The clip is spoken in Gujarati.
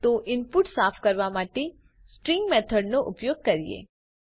તો ઇનપુટ સાફ કરવા માટે સ્ટ્રીંગ મેથડનો ઉપયોગ કરીએ